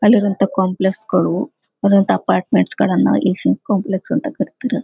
ಅಲ್ಲಿರುವಂತಹ ಕಂಪ್ಲೇಸ್ಗಳು ಇನ್ನೊಂದ್ ಅಪಾರ್ಟ್ಮೆಂಟ್ಸ್ ಗಳನ್ನೂ ಎಶಿಯನ್ ಕಾಂಪ್ಲೆಕ್ಸ್ ಅಂತ ಕರೀತಾರ.